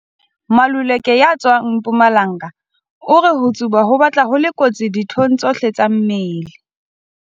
Maluleke ya tswang Mpumalanga o re ho tsuba ho batla ho le kotsi dithong tsohle tsa mmele.